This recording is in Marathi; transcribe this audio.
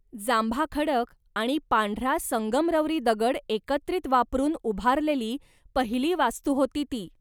जांभा खडक आणि पांढरा संगमरवरी दगड एकत्रित वापरून उभारलेली पहिली वास्तू होती ती.